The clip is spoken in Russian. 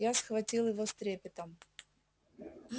я схватил его с трепетом